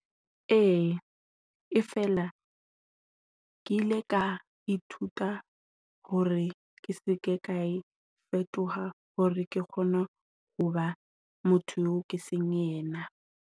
Ee, e fela ke ile ka ithuta hore ke se ke ka e fetoha hore ke kgone ho ba motho eo ke seng yena.